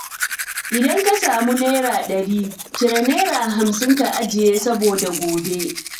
Idan ka samu naira ɗari, cire naira hamsin ka ajiye saboda gobe.